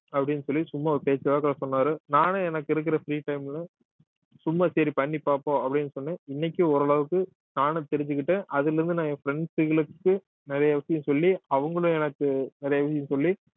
அப்படின்னு சொல்லி சும்மா ஒரு பேச்சுவாக்குல சொன்னாரு நானும் எனக்கு இருக்கிற free time ல சும்மா சரி பண்ணி பார்ப்போம் அப்படின்னு சொன்னேன் இன்னைக்கும் ஓரளவுக்கு நானும் தெரிஞ்சுக்கிட்டேன் அதுல இருந்து நான் என் friends களுக்கு நிறைய விஷயம் சொல்லி அவங்களும் எனக்கு நிறைய விஷயம் சொல்லி